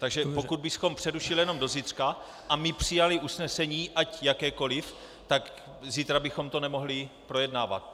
Takže pokud bychom přerušili jenom do zítřka a my přijali usnesení, ať jakékoli, tak zítra bychom to nemohli projednávat.